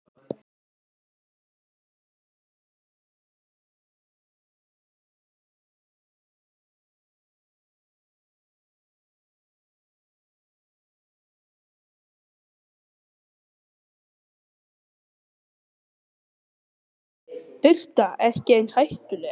Birta: Ekki eins hættuleg?